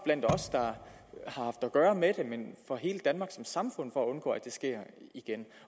for at gøre med det men for hele danmark som samfund for at undgå at det sker igen